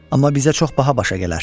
Amma bizə çox baha başa gələr.